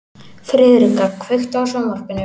Friðrika, kveiktu á sjónvarpinu.